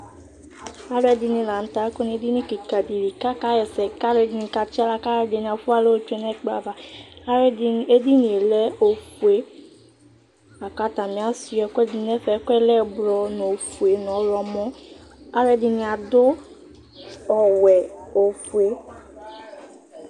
aloɛdini lantɛ akɔ n'edini keka di li ka ɣa ɛsɛ k'aloɛdini katsi ala k'aloɛdini afua ala otsue n'ɛkplɔ ava aloɛdini edinie lɛ ofue lako k'atani asua ɛkoɛdi n'ɛfɛ ɛkoɛ lɛ ublɔ n'ofue n'ɔwlɔmɔ aloɛdini ado ɔwɛ ofue